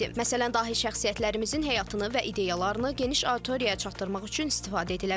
Məsələn, dahi şəxsiyyətlərimizin həyatını və ideyalarını geniş auditoriyaya çatdırmaq üçün istifadə edilə bilər.